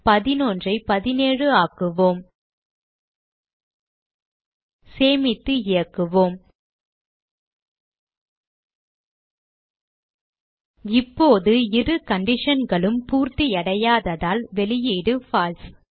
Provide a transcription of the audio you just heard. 11 ஐ 17 ஆக்குவோம் சேமித்து இயக்குவோம் இப்போது இரு conditionகளும் பூர்த்தியடையாததால் வெளியீடு பால்சே